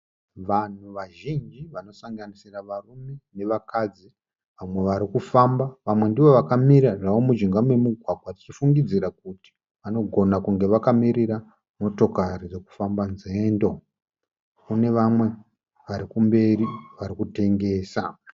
Vanhu vazhinji vanosanganisira varume nevakadzi. Vamwe varikufamba vamwe ndivo vakamira zvavo mujinga memugwagwa tichifungidzira kuti vanogona kunge vakamirira motokari dzokufamba nzendo. Kune vamwe varikumberi vari kutengesa.